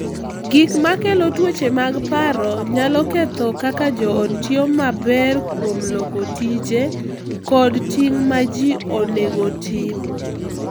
Gik ma kelo tuoche mag paro nyalo ketho kaka joot tiyo maber kuom loko tije kod ting’ ma ji onego otim.